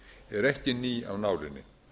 er ekki ný af nálinni